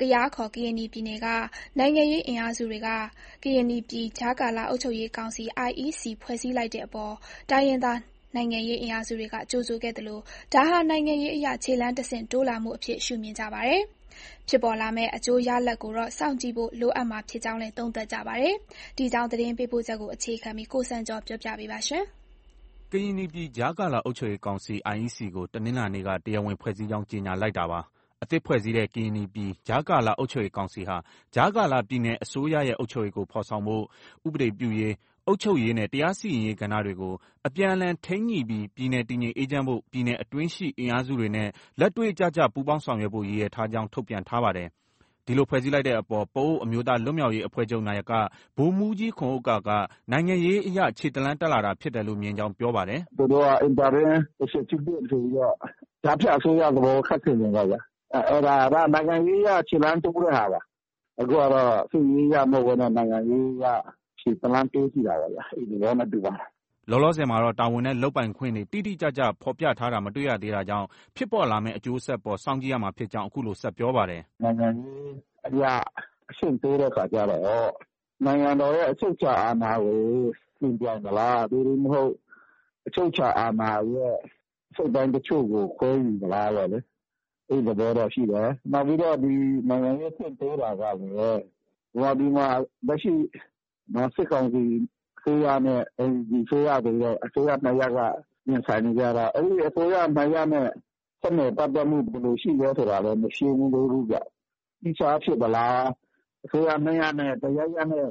ကယား ခေါ် ကရင်နီပြည်နယ်က နိုင်ငံရေးအင်အားစုတွေက ကရင်နီပြည် ကြားကာလ အုပ်ချုပ်ရေးကောင်စီ IEC ဖွဲ့စည်းလိုက်တဲ့အပေါ် တိုင်းရင်းသား နိုင်ငံရေးအင်အားစုတွေက ကြိုဆိုခဲ့သလို ဒါဟာ နိုင်ငံရေးအရ ခြေလှမ်းတဆင့်တိုးလာမှုအဖြစ် ရှုမြင်ကြပါတယ်။ ဖြစ်ပေါ်လာမယ့် အကျိုးရလဒ်ကိုတော့ စောင့်ကြည့်ဖို့ လိုအပ်မှာဖြစ်ကြောင်းလည်း သုံးသပ်ကြပါတယ်။ ဒီအကြောင်း သတင်းပေးပို့ချက်ကို အခြေခံပြီး ကိုစံကျော်က တင်ပြထားပါတယ်။ ကရင်နီပြည် ကြားကာလ အုပ်ချုပ်ရေးကောင်စီ IEC တနင်္လာနေ့က တရားဝင်ဖွဲ့စည်းကြောင်း ကြေညာလိုက်တာပါ။ အသစ်ဖွဲ့စည်းတဲ့ ကရင်နီပြည် ကြားကာလ အုပ်ချုပ်ရေးကောင်စီဟာ ကြားကာလ ပြည်နယ်အစိုးရရဲ့ အုပ်ချုပ်ရေးကို ဖော်ဆောင်ဖို့၊ ဥပဒေပြုရေး၊ အုပ်ချုပ်ရေး နဲ့ တရားစီရင်ရေး ကဏ္ဍတွေကို အပြန်အလှန်ထိန်းညှိပြီး ပြည်နယ်တည်ငြိမ်အေးချမ်းဖို့၊ ပြည်နယ်အတွင်းရှိ အင်အားစုတွေနဲ့ လက်တွေ့ကျကျ ပူးပေါင်းဆောာင်ရွက်ဖို့ ရည်ရွယ်ထားကြောင်း ထုတ်ပြန်ထားပါတယ်။ ဒီလို ဖွဲ့စည်းလိုက်တဲ့အပေါ် ပအိုဝ်းအမျိုးသားလွတ်မြောက်ရေးအဖွဲ့ချုပ် နာယက ဗိုလ်မှုးကြီးခွန်ဥက္ကာက နိုင်ငံရေးအရ ခြေတလှမ်း တက်လာတာဖြစ်တယ်လို့ မြင်ကြောင်း ပြောပါတယ်။ “သူတို့က Interim Executive ဆိုပြီးတော့ ကြားဖြတ်အစိုးရသဘော ခပ်ဆင်ဆင်ပေ့ါဗျာ။ အဲဒါက နိုင်ငံရေးအရ ခြေလှမ်းတိုးတဲ့ဟာပါ။ အခုဟာတော့ စစ်ရေးအရ မဟုတ်ဘဲနဲ့ နိုင်ငံရေးအရ ခြေတလှမ်း တိုးကြည့်တာပေါ့ဗျာ။ အဲဒီသဘောနဲ့ တူပါတယ်။” လောလောဆည်မှာတော့ တာဝန်နဲ့ လုပ်ပိုင်ခွင့်တွေ တိတိကျကျ ဖော်ပြထားတာမတွေ့ရသေးတာကြောင့် ဖြစ်ပေါ်လာမယ့် အကျိုးဆက်အပေါ် စောင့်ကြည့်ရမှာဖြစ်ကြောင်း အခုလို ဆက်ပြောပါတယ်။ “နိုင်ငံရေးအရ အဆင့်တိုးတဲ့အခါကျတော့ နိုင်ငံတော်ရဲ့ အချုပ်အခြာအာဏာကို ယှဉ်ပြိုင်သလား၊ သို့တည်းမဟုတ် အချုပ်အခြာအာဏာရဲ့ အစိတ်အပိုင်းအချို့ကို ခွဲယူမလားပေါ့လေ။ အဲဒီသဘောတော့ ရှိတယ်။ နောက်ပြီးတော့ ဒီ နိုင်ငံရေးအဆင့် တိုးတာကလည်း ဗမာပြည်မှာ လက်ရှိ စစ်ကောင်စီအစိုးရနဲ့ NUG အစိုးရဆိုပြီးတော့ အစိုးရ ၂ ရပ် ရင်ဆိုင်နေကြတာ။ အဲဒီ အစိုးရ ၂ရပ်နဲ့ ဆက်နွယ်ပတ်သက်မှု ဘယ်လို ရှိလဲ ဆိုတာလည်း မရှင်းသေးဘူးဗျ။ သီးခြားဖြစ်သလား။ အစိုးရ ၂ ရပ်အနက် တရပ်ရပ်နဲ့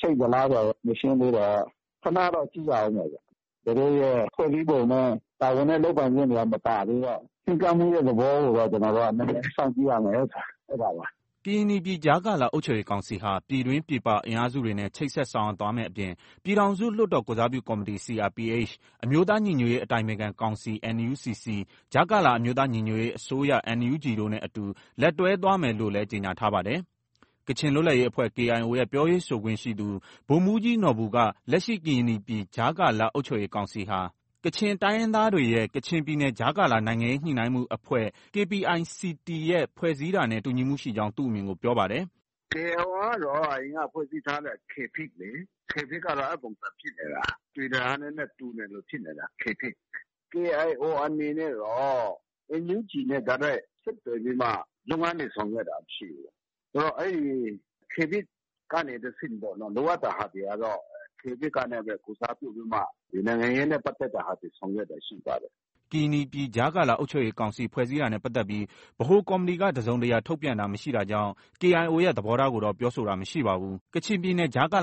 ချိတ်သလားဆိုတာလည်း မရှင်းသေးတော့ ခနတော့ ကြည့်ရအုံးမယ်ဗျ။ သူတို့ရဲ့ ဖွဲ့စည်းပုံနဲ့ တာဝန်နဲ့ လုပ်ပိုင်ခွင့်တွေက မပါသေးတော့ ချဉ်းကပ်မှုရဲ့ သဘောကိုတော့ ကျနော်တို့ နည်းနည်း စောင့်ကြည့်ရမယ်။ ” ကရင်နီပြည် ကြားကာလ အုပ်ချုပ်ရေးကောင်စီဟာ ပြည်တွင်း ပြည်ပအင်အားစုတွေနဲ့ ချိတ်ဆက်ဆောင်ရွက်သွားမယ့်အပြင် ပြည်ထောင်စုလွှတ်တော် ကိုယ်စားပြု ကော်မတီ CRPH ၊ အမျိုးသား ညီညွတ်ရေး အတိုင်ပင်ခံကောင်စီ NUCC ၊ ကြားကာလ အမျိုးသားညီညွတ်ရေးအစိုးရ NUG တို့နဲ့ အတူလက်တွဲသွားမယ် လို့လည်း ကြေညာထားပါတယ်။ ကချင်လွတ်လပ်ရေးအဖွဲ့ KIO ရဲ့ ပြောရေးဆိုခွင့်ရှိသူ ဗိုလ်မှုးကြီးနော်ဘူက လက်ရှိ ကရင်နီပြည် ကြားကာလ အုပ်ချုပ်ရေးကောင်စီဟာ ကချင်တိုင်းရင်းသားတွေရဲ့ KPICT (Kachin Political Interim Coordination Team) ရဲ့ ဖွဲ့စည်းတာနဲ့ တူညီမှုရှိကြောင်း သူ့အမြင်ကို ပြောပါတယ်။ “KIO ကတော့ အရင်က ဖွဲ့စည်းထားတဲ့ KPICT လေ၊ KPICT ကတော့ အဲဒီပုံစံဖြစ်နေတာ။ အသွင်ဏ္ဍာန်က နည်းနည်း တူသလို ဖြစ်နေတာ KPICT။ KIO အနေနဲ့တော့ NUG နဲ့ တိုက်ရိုက် ဆက်သွယ်ပြီးမှ လုပ်ငန်းတွေ ဆောင်ရွက်တာ မရှိဘူး။ အဲဒီ KPICT ကနေ တဆင့်ပေါ့။ လိုအပ်တဲ့ဟာတွေကတော့ KPICT ကပဲ ကိုယ်စားပြု ပြီးမှ ဒီ နိုင်ငံရေးနဲ့ပတ်သက်တာတွေ ဆောင်ရွက်တာ ရှိပါတယ်။” ကရင်နီပြည် ကြားကာလ အုပ်ချုပ်ရေးကောင်စီ ဖွဲ့စည်းတာနဲ့ပတ်သက်ပြီး ဗဟိုကော်မတီက တစုံတရာ ထုတ်ပြန်တာမရှိတာကြောင့် KIO ရဲ့ သဘောထားကိုတော့ ပြောဆိုတာ မရှိပါဘူး။ KPICT (Kachin Political Interim Coordination Team)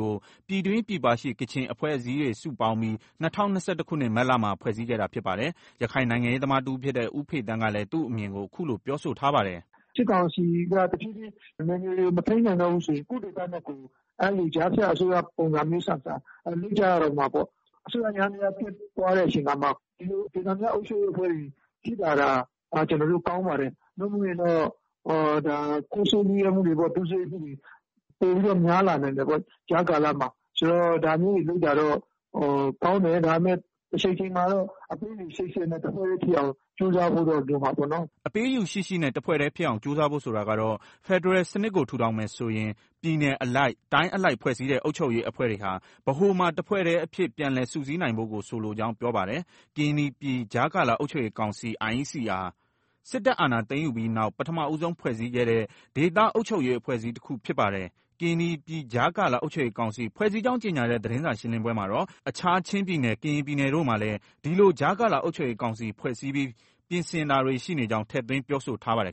ကို ပြည်တွင်း၊ ပြည်ပရှိ ကချင်အဖွဲ့အစည်းတွေ စုပေါင်းပြီး ၂၀၂၁ခုနှစ် မတ်လမှာ ဖွဲ့စည်းခဲ့တာဖြစ်ပါတယ်။ ရခိုင်နိုင်ငံရေးသမားတဦးဖြစ်တဲ့ ဦးဖေသန်းကလည်း သူ့အမြင်ကို အခုလို ပြောဆိုထားပါတယ်။ “စစ်ကောင်စီက တဖြည်းဖြည်း နယ်မြေတွေကို မထိန်းနိုင်တော့ဘူးဆိုရင် ကိုယ့်ဒေသနဲ့ကိုယ် အဲလို ကြားဖြတ်အစိုးရပုံစံမျိုးဆန်ဆန် လုပ်ကြရတော့မှာပေါ့။ အစိုးရယန္တရား ပျက်သွားတဲ့အချိန်မှာ ဒီလို ဒေသန္တရအဖွဲ့တွေ ရှိလာတာ ကျနော်တို့ ကောင်းပါတယ်။ နို့မိုရင်တော့ ခိုးဆိုးလုယက်မှုတွေ၊ ဒုစရိုက်မှုတွေ ပိုပြီးတော့ များလာနိုင်တယ်ပေါ့။ ကြားကာလမှာ။ ဆိုတော့ ဒါမျိုးတွေလုပ်တာတော့ ကောင်းတယ်။ ဒါပေမဲ့ တချိန်ချိန်မှာတော့ အပေးအယူရှိရှိနဲ့ တစ်ဖွဲ့တည်းဖြစ်အောင် ကြိုးစားဖို့တော့ လိုမှာပေါ့နော်။” အပေးအယူရှိရှိနဲ့ တစ်ဖွဲ့တည်းဖြစ်အောင် ကြိုးစားဖို့ဆိုတာကတော့ ဖက်ဒရယ်စနစ်ကို ထူထောင်မယ်ဆိုရင် ပြည်နယ်အလိုက် ၊ တိုင်းအလိုက် ဖွဲ့စည်းတဲ့ အုပ်ချုပ်ရေးအဖွဲ့တွေဟာ ဗဟိုမှာ တဖွဲ့တည်းအဖြစ် ပြန်လည်စုစည်းနိုင်ဖို့ကို ဆိုလိုကြောင်း ပြောပါတယ်။ ကရင်နီပြည် ကြားကာလအုပ်ချုပ်ရေးကောင်စီ ဟာ စစ်တပ်အာဏာသိမ်းယူပြီးနောက် ပထမဦးဆုံးဖွဲ့စည်း ခဲ့တဲ့ ဒေသအုပ်ချုပ်ရေး အဖွဲ့အစည်းတခု ဖြစ်ပါတယ်။ ကရင်နီပြည်ကြားကာလအုပ်ချုပ်ရေးကောင်စီ ဖွဲ့စည်းကြောင်းကြေညာတဲ့ သတင်းစာရှင်းလင်းပွဲမှာတော့ အခြား ချင်းပြည်နယ် ကရင်ပြည်နယ်တို့မှာလည်း ဒီလို ကြားကာလအုပ်ချုပ်ရေးကောင်စီဖွဲ့စည်းပြီး ပြင်ဆင်တာတွေ ရှိနေကြောင်း ထည့်သွင်း ပြောဆိုထားပါတယ်